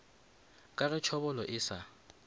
ka ge tšhobolo e sa